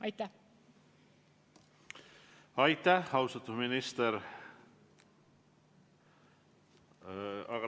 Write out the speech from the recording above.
Aitäh, austatud minister!